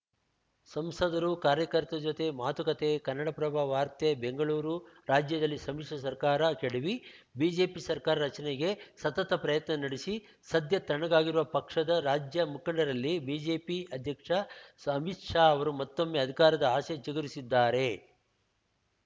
ಸಂಸದರು ಕಾರ್ಯಕರ್ತರ ಜತೆ ಮಾತುಕತೆ ಕನ್ನಡಪ್ರಭ ವಾರ್ತೆ ಬೆಂಗಳೂರು ರಾಜ್ಯದಲ್ಲಿ ಸಮ್ಮಿಶ್ರ ಸರ್ಕಾರ ಕೆಡವಿ ಬಿಜೆಪಿ ಸರ್ಕಾರ ರಚನೆಗೆ ಸತತ ಪ್ರಯತ್ನ ನಡೆಸಿ ಸದ್ಯ ತಣ್ಣಗಾಗಿರುವ ಪಕ್ಷದ ರಾಜ್ಯ ಮುಖಂಡರಲ್ಲಿ ಬಿಜೆಪಿ ಅಧ್ಯಕ್ಷ ಅಮಿತ್‌ ಶಾ ಅವರು ಮತ್ತೊಮ್ಮೆ ಅಧಿಕಾರದ ಆಸೆ ಚಿಗುರಿಸಿದ್ದಾರೆ